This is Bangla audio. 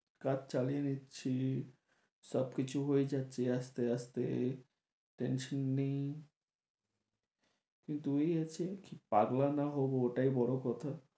কাজ চালিয়ে নিচ্ছি সব কিছু হয়ে যাচ্ছে আস্তে আস্তে tension নেই কিন্তু এই আছে পাগলা না হবো ওটাই বড়ো কথা